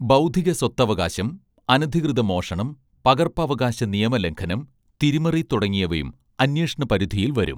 ബൗദ്ധിക സ്വത്തവകാശം അനധികൃത മോഷണം പകർപ്പവകാശ നിയമലംഘനം തിരിമറി തുടങ്ങിയവയും അന്വേഷണ പരിധിയിൽ വരും